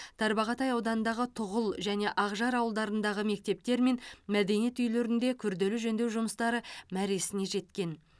тарбағатай ауданындағы тұғыл және ақжар ауылдарындағы мектептер мен мәдениет үйлерінде күрделі жөндеу жұмыстары мәресіне жеткен